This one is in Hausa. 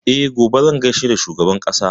E, gobe zan gaishe da shugaban ƙasa.